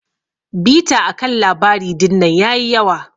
Bita akan labari dinnan yayi yawa.